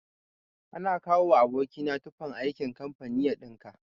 Ana kawowa aboki na tufan aikin kamfani ya ɗinka.